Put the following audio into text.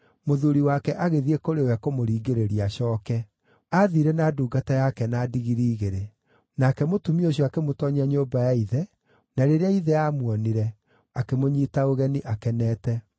mũthuuri wake agĩthiĩ kũrĩ we kũmũringĩrĩria acooke. Aathiire na ndungata yake na ndigiri igĩrĩ. Nake mũtumia ũcio akĩmũtoonyia nyũmba ya ithe, na rĩrĩa ithe aamuonire, akĩmũnyiita ũgeni akenete.